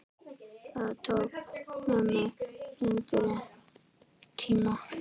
Það tók mömmu lengri tíma.